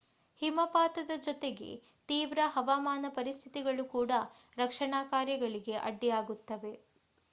ಹಿಮಪಾತದ ಜೊತೆಗೆ ತೀವ್ರ ಹವಾಮಾನ ಪರಿಸ್ಥಿತಿಗಳು ಕೂಡ ರಕ್ಷಣಾ ಕಾರ್ಯಗಳಿಗೆ ಅಡ್ಡಿಯಾಗುತ್ತಿವೆ